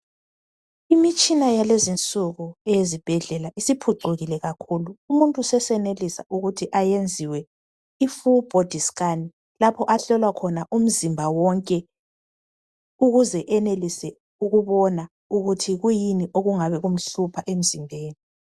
Imitshina yalezi insuku ezibhedlela isiphucukile kakhulu umuntu sesenelisa ukuthi ayenziwe i full body scan lapho ahlolwa khona umzimba wonke. Ukuze enelise ukubona ukuthi kuyini okungabe kumhlupha emzimbeni.